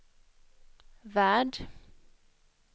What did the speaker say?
värld